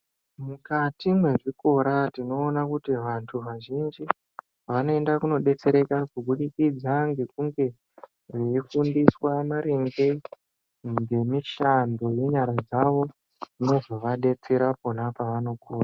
Mukati mezvikora tinoona kuti vantu vazhinji vanoenda kundodetsereka kubudikidza Ngekunge veifundiswa maringe ngemishando yenyara dzawo inozovadetsera pona pavonokura.